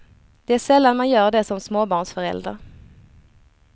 Det är sällan man gör det som småbarnsförälder.